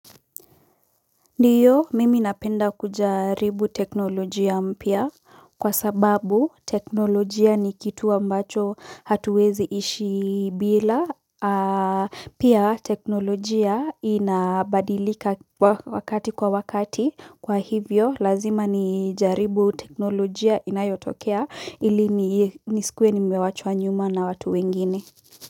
Ndiyo mimi napenda kujaribu teknolojia mpya kwa sababu teknolojia ni kitu ambacho hatuwezi ishi bila pia teknolojia inabadilika wakati kwa wakati kwa hivyo lazima nijaribu teknolojia inayotokea ili nisikuwe nimewachwa nyuma na watu wengineni.